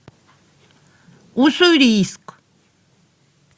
уссурийск